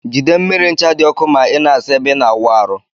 Jide mmiri ncha di ọkụ ma ina asa ebe ina awụ arụ.